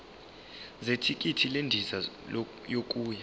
zethikithi lendiza yokuya